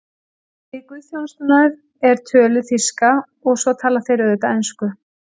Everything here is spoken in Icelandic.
Við guðsþjónustur er töluð þýska og svo tala þeir auðvitað ensku.